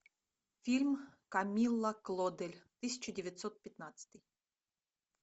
фильм камилла клодель тысяча девятсот пятнадцатый